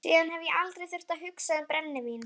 Síðan hef ég aldrei þurft að hugsa um brennivín.